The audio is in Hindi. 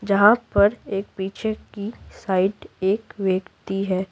जहां पर एक पीछे की साइड एक व्यक्ति है।